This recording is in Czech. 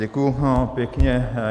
Děkuju pěkně.